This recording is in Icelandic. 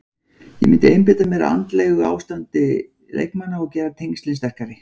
Ég myndi einbeita mér að andlegu ástandi leikmanna og gera tengslin sterkari.